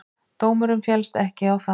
Dómurinn féllst ekki á það.